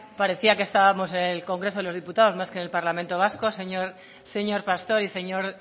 parecía que estábamos en el congreso de los diputados más que en el parlamento vasco señor pastor y señor